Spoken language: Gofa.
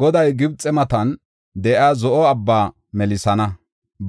Goday Gibxe matan de7iya Zo7o Abbaa melisana;